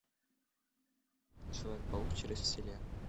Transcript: человек паук через вселенные